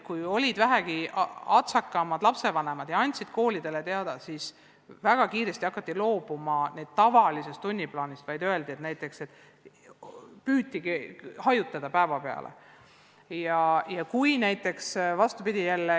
Kui olid vähegi atsakamad lapsevanemad, kes andsid koolidele teada, siis hakati väga kiiresti tavalisest tunniplaanist loobuma ja püüti hajutada tunde terve päeva peale.